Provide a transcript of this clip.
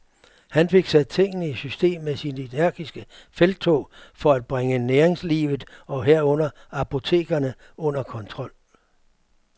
Han fik sat tingene i system med sit energiske felttog for at bringe næringslivet, og herunder apotekerne, under kontrol.